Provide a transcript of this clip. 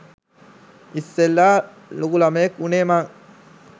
ඉස්සෙල්ලා ලොකු ළමයෙක් උනේ මං.